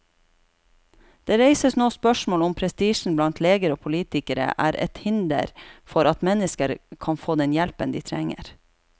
Det reises nå spørsmål om prestisjen blant leger og politikere er et hinder for at mennesker kan få den hjelpen de trenger.